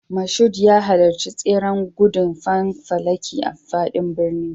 Mashood ya halarci tseren gudun fanfalaki a faɗin birni.